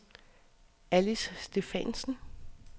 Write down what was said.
Alice Stephansen